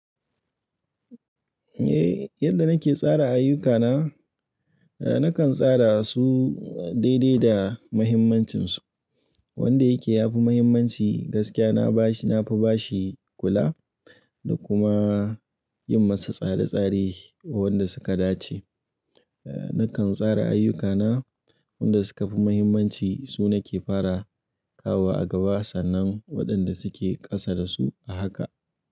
Eh, yadda nake tsara ayyukana, eh nakan tsara su daidai da muhimmancin su. Wanda yake yafi muhimmanci gaskiya na bashi, nafi ba shi kula, da kuma yin masa tsare-tsare wanda suka dace. Eh, nakan tsara ayyukana wanda suka fi muhimmanci su nake fara kawo wa a gaba, sannan waɗanda suke ƙasa da su a haka.